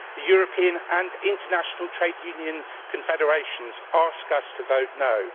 The European and international trade union confederations ask us to vote no'.